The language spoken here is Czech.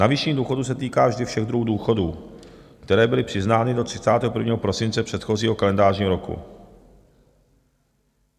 Navýšení důchodu se týká vždy všech druhů důchodů, které byly přiznány do 31. prosince předchozího kalendářního roku.